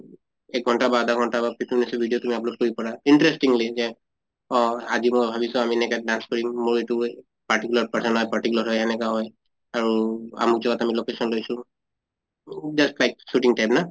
এক ঘন্টা বা আধা ঘন্টা বা ৰ video তুমি upload কৰিব পাৰা interestingly যে অহ আজি মই ভাবিছো আমি এনেকা dance কৰিম মোৰ এইটো particular person হয় particular হয় এনেকা হয় আৰু আমুক জগাত আমি location লৈছ উ just like shooting type না?